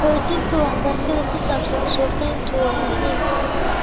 Xoojinta waxbarashada ku saabsan suuqgeyntu waa muhiim.